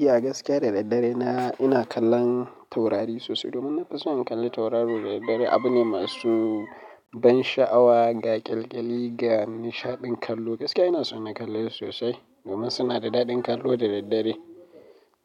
Eh a gaskiya da daddare na ina kallon taurari sosai domin na fi so in kalla tauraro da daddare. Abu ne masu ban sha'awa ga ƙyalƙyali ga nishaɗin kallo. Gaskiya ina so na kalle sosai domin suna da daɗin kallo da daddare.